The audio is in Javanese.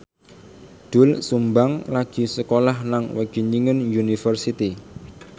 Doel Sumbang lagi sekolah nang Wageningen University